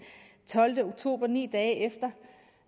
tolvte oktober altså ni dage efter